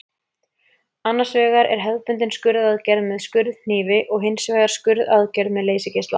Annars vegar er hefðbundin skurðaðgerð með skurðhnífi og hins vegar skurðaðgerð með leysigeisla.